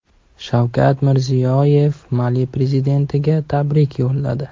Shavkat Mirziyoyev Mali prezidentiga tabrik yo‘lladi.